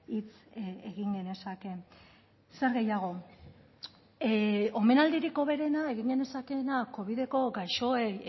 hitz egin genezake zer gehiago omenaldirik hoberena egin genezakeena covideko gaixoek